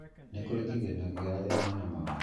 Ni kũri kĩgĩna kĩa arĩa mena mawathe